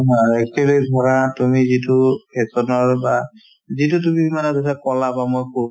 পৰা তুমি যিটো fashion ৰ বা যিটো তুমি ধৰা কৈছা